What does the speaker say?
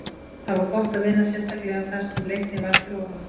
Það var gott að vinna, sérstaklega þar sem Leiknir var fyrir ofan okkur.